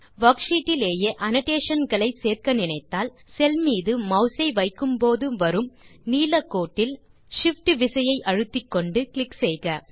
worksheet டிலேயே annotation களை சேர்க்க நினைத்தால் செல் மீது மாஸ் ஐ வைக்கும்போது வரும் நீல கோட்டில் Shift விசையை அழுத்திக்கொண்டு கிளிக் செய்க